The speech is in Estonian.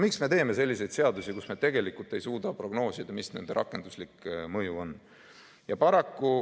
Miks me teeme selliseid seadusi, kus me tegelikult ei suuda prognoosida, mis nende rakenduslik mõju on?